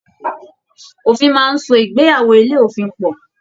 Òfin máa n so ìgbéyàwó ilé òfin pọ.